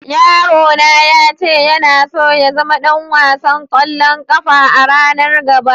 Yaro na ya ce yana so ya zama dan wasan kwallon kafa a'ranan gaba.